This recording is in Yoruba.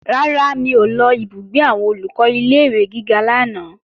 Rárá, mi ò lọ ìbúgbé àwọn Olùkọ́ ilé-ìwé gíga lánàá